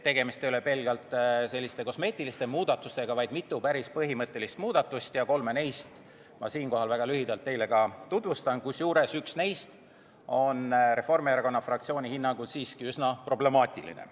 Tegemist ei ole pelgalt kosmeetiliste muudatustega, vaid siin on mitu päris põhimõttelist muudatust ja kolme neist ma siinkohal väga lühidalt teile ka tutvustan, kusjuures üks neist on Reformierakonna fraktsiooni hinnangul siiski üsna problemaatiline.